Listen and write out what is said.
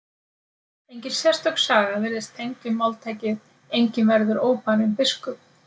Engin sérstök saga virðist tengd við máltækið enginn verður óbarinn biskup.